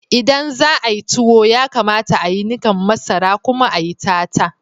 Idan za'ayi tuwo, ya kamata a'yi nikan masaran kuma a'yi tatta.